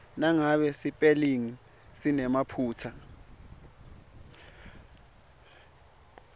nangabe sipelingi sinemaphutsa